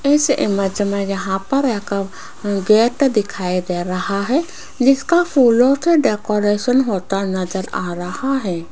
इस इमेज में यहाँ पर एक गेट दिखाई दे रहा है जिसका फूलों से डेकोरेशन होता नजर आ रहा है।